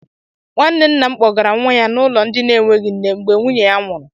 Nwanne ńnà m kpogara nwa ya n' ụlọ ndị na enweghị nne, mgbe nwunye ya nwụrụ.